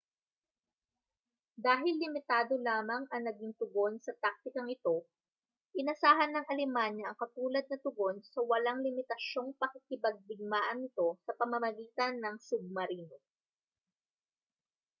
dahil limitado lamang ang naging tugon sa taktikang ito inasahan ng alemanya ang katulad na tugon sa walang limitasyong pakikipagdigmaan nito sa pamamagitan ng submarino